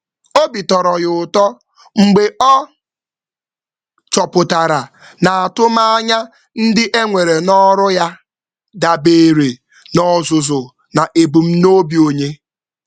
Ọ nwere ekele maka otu a tụrụ anya arụmọrụ kwekọrọ na ebumnuche mmụta mmụta na mmepe.